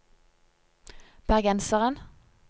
bergenseren